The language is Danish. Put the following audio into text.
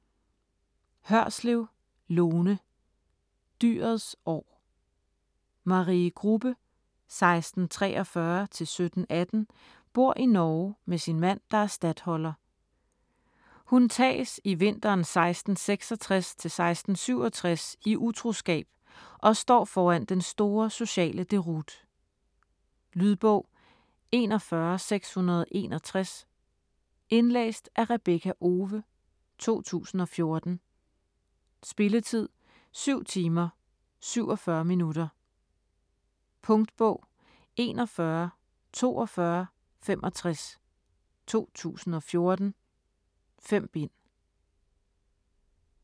Hørslev, Lone: Dyrets år Marie Grubbe (1643-1718) bor i Norge med sin mand, der er statholder. Hun tages i vinteren 1666-1667 i utroskab og står foran den store sociale deroute. Lydbog 41661 Indlæst af Rebekka Owe, 2014. Spilletid: 7 timer, 47 minutter. Punktbog 414265 2014. 5 bind.